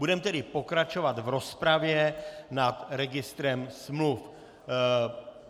Budeme tedy pokračovat v rozpravě nad registrem smluv.